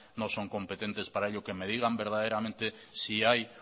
no son competentes para ello que me digan verdaderamente si hay